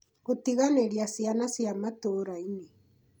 Gũtiganĩria ciana cia matũũra-inĩ